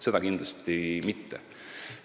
Seda kindlasti mitte.